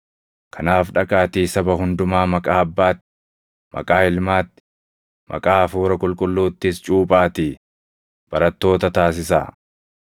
Kanaaf dhaqaatii saba hundumaa maqaa Abbaatti, maqaa Ilmaatti, maqaa Hafuura Qulqulluuttis cuuphaatii barattoota taasisaa;